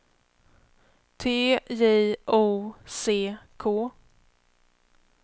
T J O C K